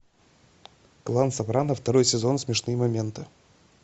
клан сопрано второй сезон смешные моменты